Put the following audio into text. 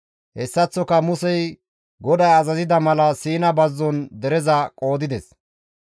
Hessaththoka Musey GODAY azazida mala Siina bazzon dereza qoodides.